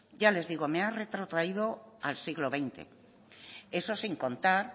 ya les digo me ha retrotraído al siglo veinte eso sin contar